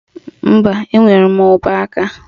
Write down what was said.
Mba, enwere m ụbọaka